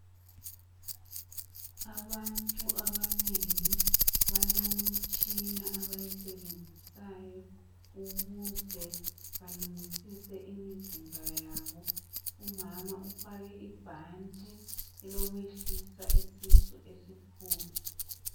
Abantu abanengi balemitshina abayisebenzisayo ukuze balungisise imizimba yabo. Umama ufake ibhanti elokwehlisa isisu esikhulu.